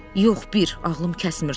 Yox, bir, ağlım kəsmir.